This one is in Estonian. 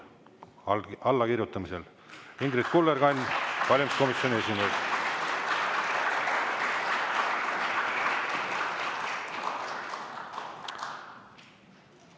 Ingrid Kullerkann, valimiskomisjoni esimees.